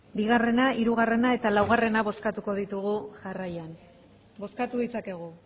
bigarrena hirugarrena eta laugarrena bozkatuko ditugu jarraian bozkatu ditzakegu